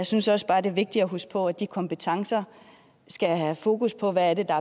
synes også bare det er vigtigt at huske på at de kompetencer skal have fokus på hvad det er